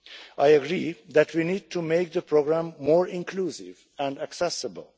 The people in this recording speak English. I agree that we need to make the programme more inclusive and accessible.